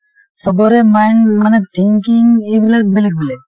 চবৰে mind মানে thinking এইবিলাক বেলেগ বেলেগ